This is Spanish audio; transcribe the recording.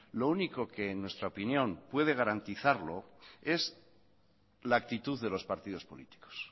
lo único que en nuestra opinión puede garantizarlo es la actitud de los partidos políticos